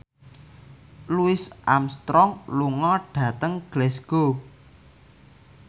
Louis Armstrong lunga dhateng Glasgow